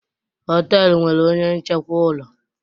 họtelu nwere onye nchekwa ụlọ